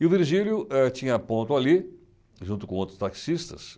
E o Virgílio eh tinha ponto ali, junto com outros taxistas.